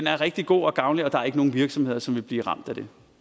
er rigtig god og gavnlig og der er ikke nogen virksomheder som vil blive ramt